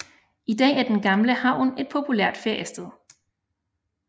I dag er den gamle havn et populært feriested